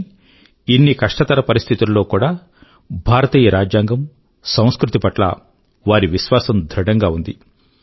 కానీ ఇన్ని కష్టతర పరిస్థితుల్లో కూడా భారతీయ రాజ్యాంగం సంస్కృతి పట్ల వారి విశ్వాసం ధృఢంగా ఉంది